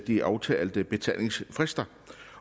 de aftalte betalingsfrister